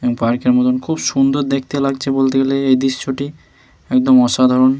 এবং পার্ক -এর মতো খুব সুন্দর দেখতে লাগছে বলতে গেলে এই দৃশ্যটি একদম অসাধারণ।